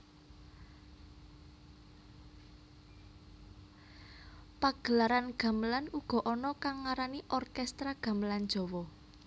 Pagelaran gamelan uga ana kang ngarani orkestra gamelan Jawa